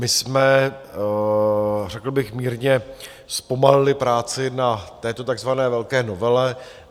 My jsme řekl bych mírně zpomalili práci na této takzvané velké novele.